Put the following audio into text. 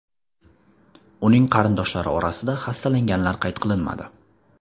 Uning qarindoshlari orasida xastalanganlar qayd qilinmadi.